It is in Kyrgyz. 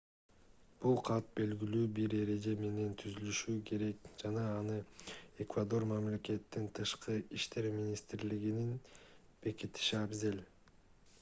бул кат белгилүү бир эреже менен түзүлүшү керек жана аны эквадор мамлекетинин тышкы иштер министрлигинин бекитиши абзел